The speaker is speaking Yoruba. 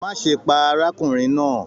Má ṣe pá arákùnrin náà!